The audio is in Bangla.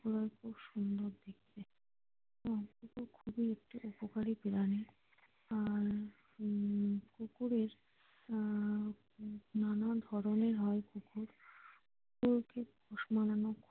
ওরা হয় খুব সুন্দর দেখতে আহ কুকুর খুবই একটি উপকারী প্রাণী আর উম কুকুরের আহ নানা ধরণের হয় কুকুর কুকুরকে পোষ মানানো।